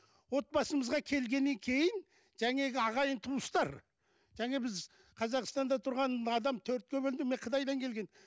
отбасымызға келгеннен кейін жаңағы ағайын туыстар және біз қазақстанда тұрған адам төртке бөлдің мен қытайдан келген